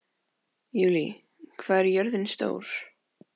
Júlí, hvað er jörðin stór?